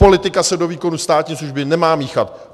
Politika se do výkonu státní služby nemá míchat.